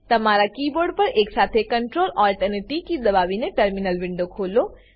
તમારા કીબોર્ડ પર એકસાથે Ctrl Alt અને ટી કી દાબીને ને ટર્મિનલ વિન્ડો ખોલો